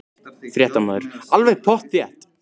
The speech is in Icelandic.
Fréttamaður: Alveg pottþétt?